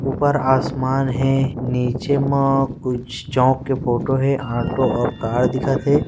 ऊपर आसमान हे नीचे मा कुछ चोक के फोटो हे ऑटो और कार दिखत हे।